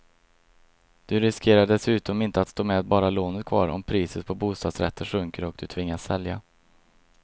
Du riskerar dessutom inte att stå med bara lånet kvar om priset på bostadsrätter sjunker och du tvingas sälja.